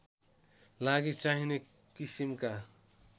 लागि चाहिने किसिमका